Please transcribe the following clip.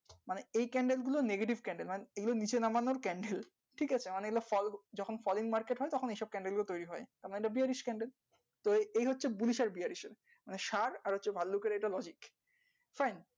মানে এই candle গুলো negative candle land এগুলো নিচে নামানোর candle ঠিক আছে মানে এই গুলো ফালতু যখন foreign market হয় তখন এই candle গুলো তৌরি হয় তারমানে এটা bearish candle তো এই হচ্ছে bullish bearish এর মানে ষাঁড় আর হচ্ছে ভাল্লুক এর এটা logic fine